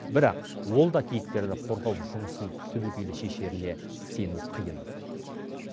бірақ ол да киіктерді қорғау жұмысын түбегейлі шешеріне сену қиын